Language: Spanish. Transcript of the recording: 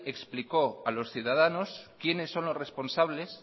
explicó a los ciudadanos quiénes son los responsables